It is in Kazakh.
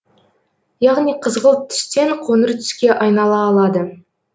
яғни қызғылт түстен қоңыр түске айнала алады